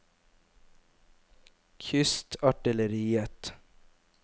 kystartilleriet